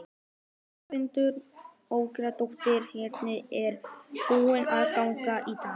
Þórhildur Þorkelsdóttir: Hvernig er búið að ganga í dag?